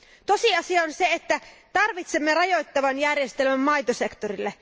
Tosiasia on, että tarvitsemme rajoittavan järjestelmän maitosektorille.